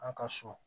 An ka so